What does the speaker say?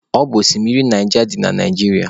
Ọ bụ oshimiri Naija dị na Naijiria.